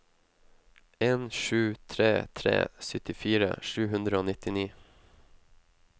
en sju tre tre syttifire sju hundre og nittini